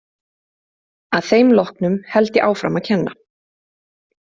Að þeim loknum held ég áfram að kenna.